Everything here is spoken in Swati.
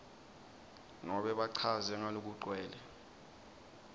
nobe bachaze ngalokugcwele